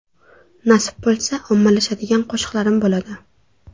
Nasib bo‘lsa, ommalashadigan qo‘shiqlarim bo‘ladi.